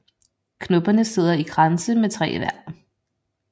Knopperne sidder i kranse med tre i hver